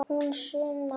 Hæ, Sunna.